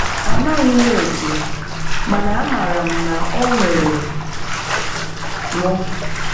Ámàghị̀ m̀ òtù, màná ámárà m̀ nà ọ̀ ńwèrè m̀